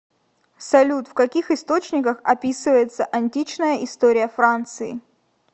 салют в каких источниках описывается античная история франции